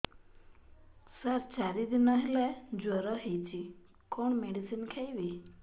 ସାର ଚାରି ଦିନ ହେଲା ଜ୍ଵର ହେଇଚି କଣ ମେଡିସିନ ଖାଇବି